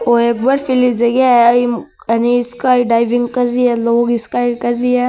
ओ एक बर्फीली जगह है ईम स्काई वि ड्राविंग कर रही है लोग स्काई कर रा है।